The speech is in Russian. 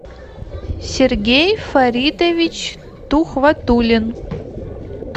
сергей фаритович тухватулин